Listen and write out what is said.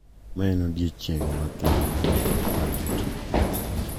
Ma en odiechieng` makende mar jotich.